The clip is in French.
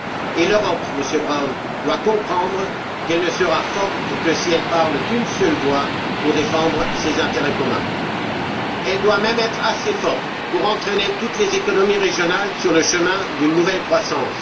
Et L'Europe, Monsieur Brown, doit comprendre qu'elle ne sera forte que si elle parle d'une seule voix pour défendre ses intérêts communs. Elle doit même être assez forte pour entraîner toutes les économies régionales sur le chemin d'une nouvelle croissance.